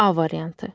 A variantı.